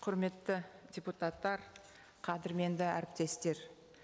құрметті депутаттар қадірменді әріптестер